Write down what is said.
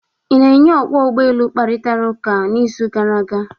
Ị na onye ọkwọ ụgbọ elu kparịtara ụka n'izu gara aga?